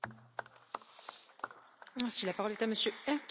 Frau Präsidentin, sehr geehrte Kolleginnen und Kollegen!